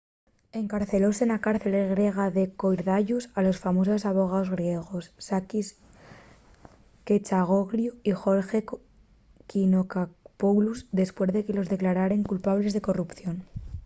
encarcelóse na cárcel griega de korydallus a los famosos abogaos griegos sakis kechagioglou y george nikolakopoulos depués de que los declararen culpables de corrupción